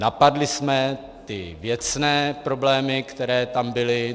Napadli jsme ty věcné problémy, které tam byly.